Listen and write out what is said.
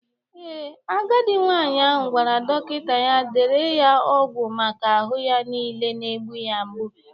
Ee, Agadi nwaanyị ahụ gwara dọkịta ya dere ya ọgwụ maka ahụ ya nile na-egbu ya mgbu